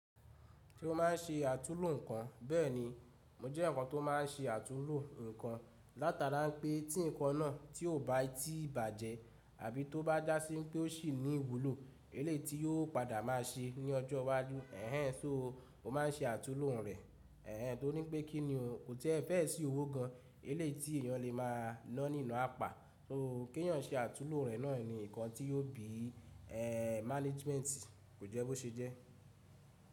Senó máà ń se àtúúlò nǹkan, bẹ́ẹ̀ni, mo jẹ́ ǹkan tó máa ń se àtúúlò nǹkan látara pé tí nǹkan náà tí ò bá tíì bàjẹ́ àbí tó bá jásí pé ó sì ní ìwúlò, eléti yóò padà máa ṣe ní ọjọ́ wájú. Ẹ̀hẹn, sóo mó máa ń se àtúúlò rẹ̀. Ẹ̀hẹn, torí pé kíni o, ko ti e fẹ́ sì owó gan eléyi ti èèyàn lè máa ná ní ina apà. So kí èèyàn se àtúúlò rẹ̀ náà ni ǹkan tí yóò bí, managementi, kò jẹ́ bó ṣe jẹ́.